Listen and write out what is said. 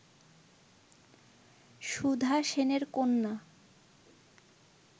সুধা সেনের কন্যা